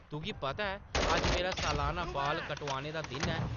“तुगी पता ऐ, अज्ज मेरा सलाना बाल कटोआने दा दिन ऐ ।